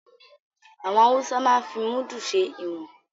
Àwọn Haúsá máa ń fi Múdù ṣe ìwọ̀n